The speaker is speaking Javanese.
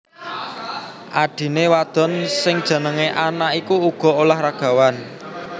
Adhiné wadon sing jenengé Anna iku uga olahragawan